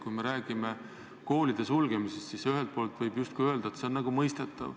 Kui me räägime koolide sulgemisest, siis ühelt poolt võib öelda, et see on mõistetav.